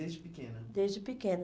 desde pequena? Desde pequena.